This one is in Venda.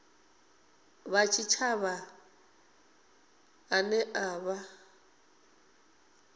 wa tshitshavha ane a vha